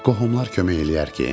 Qohumlar kömək eləyər ki?